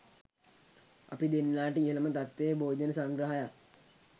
අපි දෙන්නාට ඉහළම තත්ත්වයේ භෝජන සංග්‍රහයක්